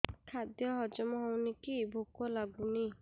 ଖାଦ୍ୟ ହଜମ ହଉନି କି ଭୋକ ଲାଗୁନି